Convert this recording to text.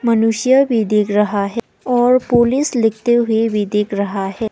मनुष्य भी दिख रहा है और पुलिस लिखते हुए भी दिख रहा है।